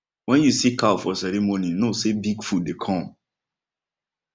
when you see cow for ceremony know say big food dey come